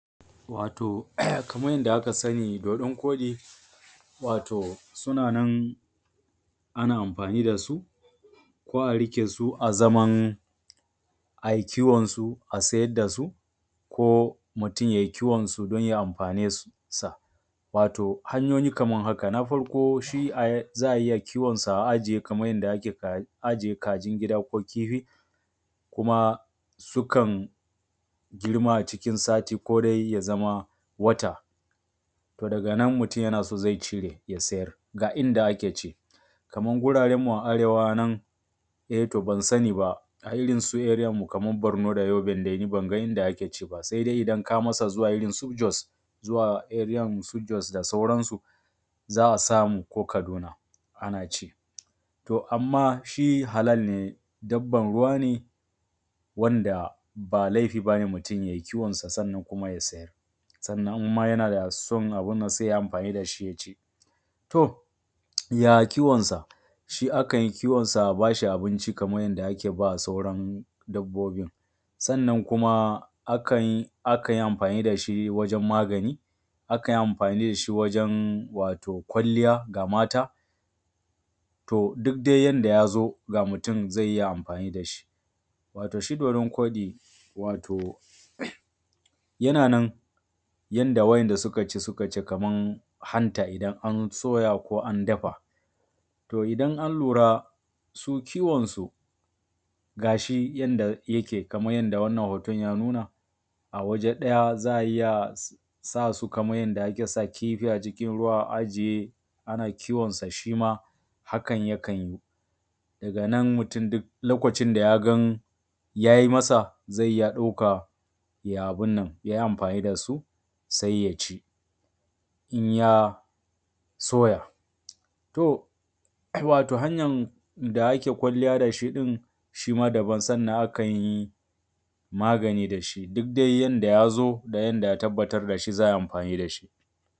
Wato kamar yadda aka sani dodon koɗi, wato suna nan, ana amfani da su, ko a riƙe su a zaman ai kiwon su a sayar da su. Ko mutum yai kiwonsu don ya amfani da su sa. Wato hanyoyi Kaman haka, na farko shi za a iya kiwonsa, a ajiye Kaman kajin gida ko kifi. Kuma sukan girma a cikinsati ko dai ya zama wata. To daga nan mutum yana so zai cire ya sayar. Ga inda ake ci Kaman guraren mu a arewa nan, eh to ban sani ba, a irin su eriyanmu su Barno da Yobe ban ga wurin da ake ci ba, sai dai idan ka matsa irin su Jos zuwa eriyan su Jos da sauransu, za a samu ko Kasuna ana ci. To amma shi halal ne, dabban ruwa ne wand aba laifi bane mutum yai kiwonsa sannan kuma ya sayar. Sannan ma in yana son abun nan ya yi amfani da shi ya ci. To ya kiwonsa, shi ana kiwonsa a ba shi abinci, kaman yadda ake ba sauran dabbobin. Sannan kuma a kan, a kan a kan yi amfani da shi wajen magani, a kan yi amfani da shi wato wajen kwalliya ga mata. To duk dai yadda ya zo ga mutum za iya amfani da shi. Wato shi dodon koɗi, wato yana nan, yadda waɗanda suka ci, suka ce kaman hanta idan an soya ko an dafa. To dan an lura su kiwon su, gashi yanda yake kaman yanda wanna hoton ya nuna awaje ɗaya za a iya sa su, kaman yanda ake sa kifi a cikin ruwa a ajiye, ana kiwon sa shi ma, hakan yakan yi. Daga nan mutum duk lokacin da ya gan ya yi masa zai iya ɗauka ya abi nan, ya yi amfani da su sai ya ci. In ya soya, to in ya soya. To wato hanya da ake kwalliya da shi ɗin, shi ma daban, sannan a kan yi magani da shi, duk dai yanda ya zo da ya tabbatar da shi ake amfani da shi.